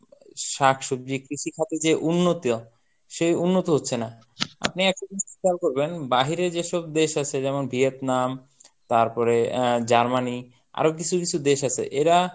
শাকসবজি কৃষিখাতে যে উন্নত সেই উন্নত হচ্ছে না. আপনি একটা জিনিস খেয়াল করবেন বাহিরে যেসব দেশ আছে যেমন ভিয়েতনাম তারপরে আহ জার্মানি আরো কিছু কিছু দেশ আছে এরা